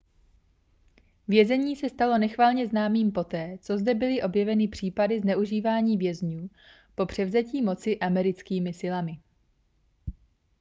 vězení se stalo nechvalně známým poté co zde byly objeveny případy zneužívání vězňů po převzetí moci americkými silami